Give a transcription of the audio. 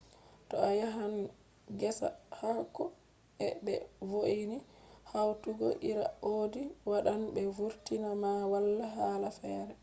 to a yahan gesa haako je be vo’ini hautugo iri audi” wadan be vurtina ma wala hala fere